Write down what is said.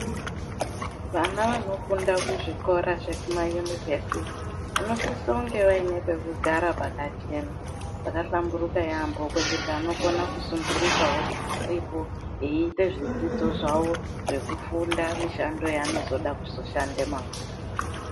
Vana vanofunda kuzvikora zvekumayunivhesiti vanosisa kunge vaine pekugara pakachena ,pakahlamburuka yaambo pekuti anokona kusundurikawo aripo, eiite zvidzidzo zvawo zvekufunda mishando yanozoda kushande mangwana.